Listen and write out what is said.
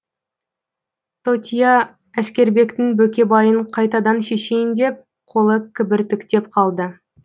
тотия әскербектің бөкебайын қайтадан шешейін деп қолы кібіртіктеп қалды